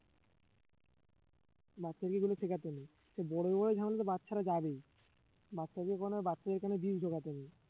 বাচ্চাদের এগুলো শেখাতে নেই সে বড় হয়ে ঝামেলা বাচ্চারা যাবেই বাচ্চাদের কোন বাচ্চাদের কোন দিন শেখাতে নেই